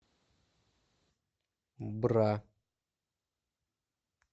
бра